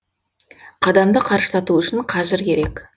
қадамды қарыштату үшін қажыр керек